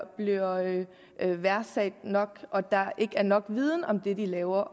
værdsat nok og at der ikke er nok viden om det de laver